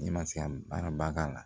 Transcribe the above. N'i ma se ka baara ba k'a la